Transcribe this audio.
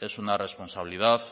es una responsabilidad